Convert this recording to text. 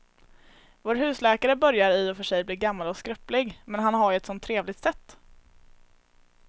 Vår husläkare börjar i och för sig bli gammal och skröplig, men han har ju ett sådant trevligt sätt!